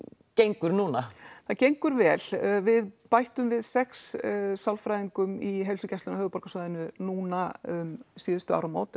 gengur núna það gengur vel við bættum við sex sálfræðingum í heilsugæslum á höfuðborgarsvæðinu núna um síðustu áramót eða